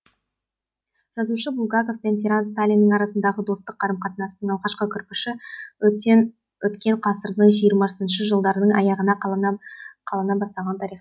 жазушы булгаков пен тиран сталиннің арасындағы достық қарым қатынастың алғашқы кірпіші өткен ғасырдың жиырмасыншы жылдарының аяғында қалана бастағаны тарихтан мәлім